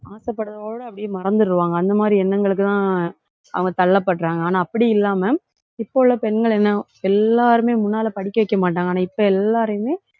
ஆசைப்படறதோட அப்படியே மறந்துடுவாங்க. அந்த மாதிரி எண்ணங்களுக்குதான் அவங்க தள்ளப்படுறாங்க. ஆனா அப்படி இல்லாம இப்ப உள்ள பெண்கள் என்ன எல்லாருமே முன்னாலே படிக்க வைக்க மாட்டாங்க. ஆனா இப்ப எல்லாரையுமே,